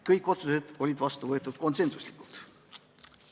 Kõik otsused võeti vastu konsensuslikult.